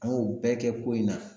An y'o bɛɛ kɛ ko in na